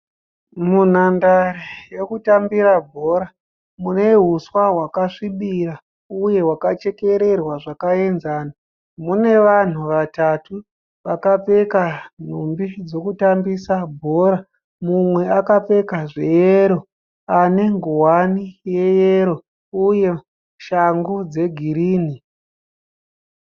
Munhandaere yekutambira bhora mune huswa hwakasvibira uye hwakachekererwa zvakaenzana. Mune vanhu vatatu vakapfeka nhumbi dzekutambisa mbora. Mumwe akapfeka zveyero ane nguwani yeyero uye shangu dzegirinhi.